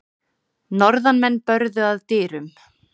Norðanmenn börðu að dyrum.